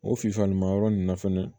O filifa ɲumanyɔrɔ ninnu na fɛnɛ